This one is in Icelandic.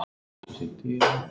Ég var níu ára.